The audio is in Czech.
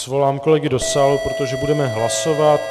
Svolám kolegy do sálu, protože budeme hlasovat.